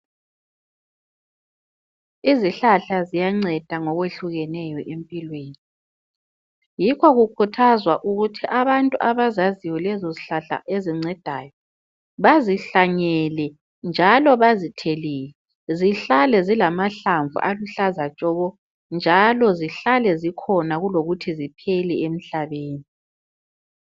Izihlahla ziyanceda ngokwehlukeneyo empilweni. Yikho kukhuthazwa ukuthi abantu abazaziyo lezozihlahla ezincedayo bazihlanyele bazithelele zihlale zilamahlamvu aluhlaza tshoko zihlale zikhona kulokuthi ziphele emhlabeni.